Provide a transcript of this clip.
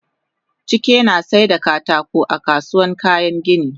Chike nasaida katako a kasuwan kayan gini